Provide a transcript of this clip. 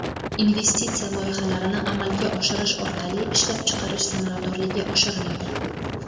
Investitsiya loyihalarini amalga oshirish orqali ishlab chiqarish samaradorligi oshiriladi.